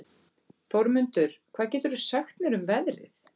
Þórmundur, hvað geturðu sagt mér um veðrið?